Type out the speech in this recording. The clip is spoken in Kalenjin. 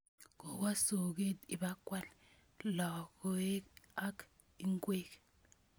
Kowo soget ipkwal logoek ak ingwek.